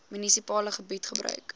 munisipale gebied gebruik